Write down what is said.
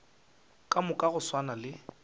ka moka go swana le